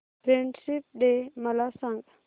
friendship day मला सांग